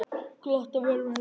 Glott á vörum hennar.